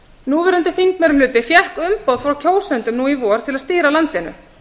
núverandi þingmeirihluti fékk umboð frá kjósendum nú í vor til að stýra landinu